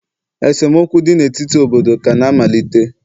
esemokwu dị n'etiti obodo kana-amalite